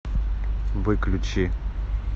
выключи